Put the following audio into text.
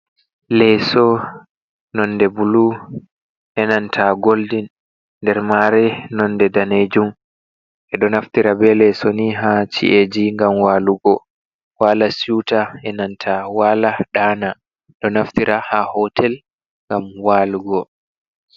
Leeso nonde buloo, enanta goldin, der mare nonde daneejum. Be do naftira be leeso ni ha ci’eji ! gam walugo wala siuta,e nanta wala dana. Ɗo naftira ha hotel ngam walugo.